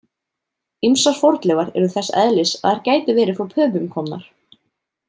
Ýmsar fornleifar eru þess eðlis að þær gætu verið frá Pöpum komnar.